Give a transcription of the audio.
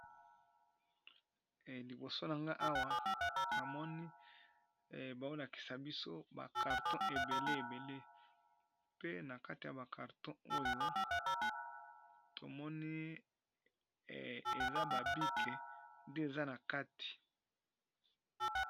Liboso na nga awa namoni baolakisa biso bakarton ebele ebele pe na kati ya bakarton oyo tomoni eza babike nde eza na kati.